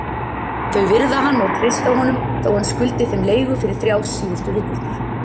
Þau virða hann og treysta honum þó hann skuldi þeim leigu fyrir þrjár síðustu vikurnar.